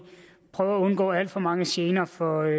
prøver at undgå alt for mange gener for